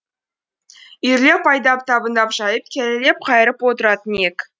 үйірлеп айдап табындап жайып келелеп қайырып отыратын ек